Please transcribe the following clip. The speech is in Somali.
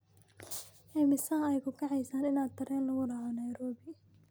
Immisa ayay ku kacaysaa in tareen loogu raaco Nairobi?